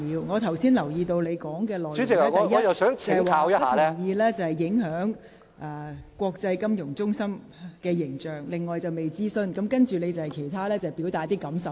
我留意到你剛才發言的內容提到：第一，你不同意議案，因會影響本港國際金融中心的形象；第二，《條例草案》未經諮詢；及後你亦表達了一些感受。